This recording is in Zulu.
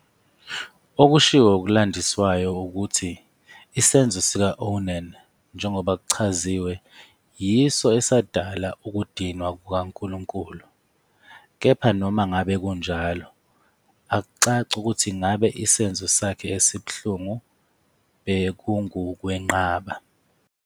Okushiwo okulandiswayo ukuthi isenzo sika-Onan njengoba kuchaziwe yiso esadala ukudinwa kukaNkulunkulu, kepha noma ngabe kunjalo, akucaci ukuthi ngabe isenzo sakhe esibuhlungu bekungukwenqaba